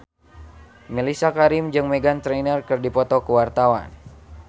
Mellisa Karim jeung Meghan Trainor keur dipoto ku wartawan